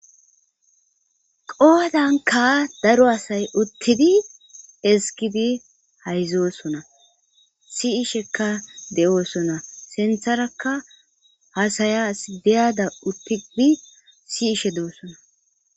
Poodanka daro asay uttidi esgidi hayzoosona siishekka de7oosona sintharaka hasaya asdeyada uppidi siishe de7osona